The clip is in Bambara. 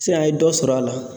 Siyan a ye dɔ sɔrɔ a la